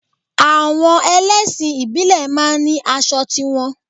Àwọn ẹlẹ́sìn ìbílẹ̀ máa ń ní aṣọ ti wọn